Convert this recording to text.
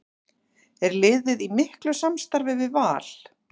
Er liðið í miklu samstarfi við Val?